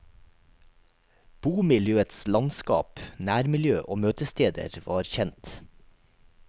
Bomiljøets landskap, nærmiljø og møtesteder var kjent.